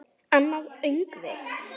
Annað öngvit